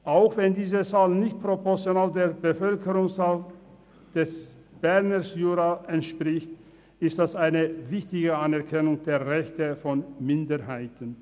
Auch wenn diese Zahl nicht proportional der Bevölkerungszahl des Berner Juras entspricht, ist das eine wichtige Anerkennung der Rechte von Minderheiten.